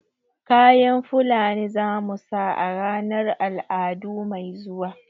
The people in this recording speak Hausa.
kayan fulani zamu saka a ranar al'adu mai zuwa